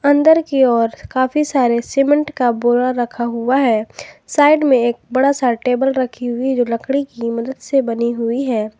अंदर की ओर काफी सारे सीमेंट का बोरा रखा हुआ है साइड में एक बड़ा सा टेबल रखी हुई जो लकड़ी की मदद से बनी हुई है।